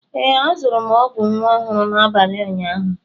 Ee, azụrụ m ọgwụ nwa ọhụrụ n'abalị ụnyaahụ.